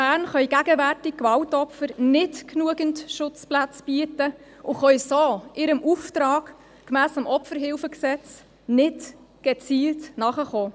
Bern können Gewaltopfern gegenwärtig nicht genügend Schutzplätze bieten und können so ihrem Auftrag gemäss dem Bundesgesetz über die Hilfe an Opfer von Straftaten (Opferhilfegesetz, OHG) nicht gezielt nachkommen.